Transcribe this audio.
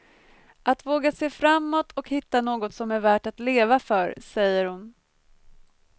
Att våga se framåt och hitta något som är värt att leva för, säger hon.